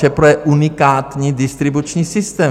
ČEPRO je unikátní distribuční systém.